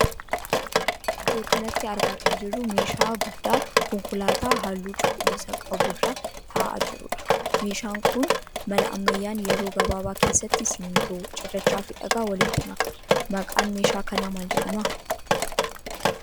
Iddoo kanatti argaa kan jirru meeshaa guddaa konkolaataa halluu cuquliisaa qabu irra ta'aa jiruudha. Meeshaan kun mala ammayyaan yeroo gabaabaa keessatti simmintoo, cirrachaa fi dhagaa walitti maka. Maqaan meeshaa kanaa maal jedhama?